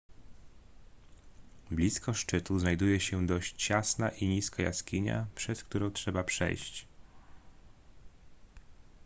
blisko szczytu znajduje się dość ciasna i niska jaskinia przez którą trzeba przejść